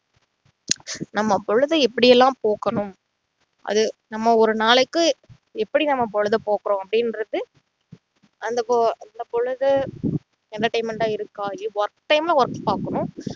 நம்ம பொழுத எப்படி எல்லாம் போக்கணும் அது நம்ம ஒரு நாளைக்கு எப்படி நம்ம பொழுத போக்குறோம் அப்படின்றது அந்த பொ~ பொழுது entertainment ஆ இருக்கா work time ல work பாக்கணும்